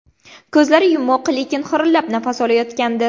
Ko‘zlari yumuq, lekin xirillab nafas olayotgandi.